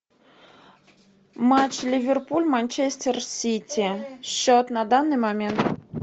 матч ливерпуль манчестер сити счет на данный момент